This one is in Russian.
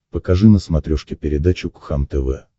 покажи на смотрешке передачу кхлм тв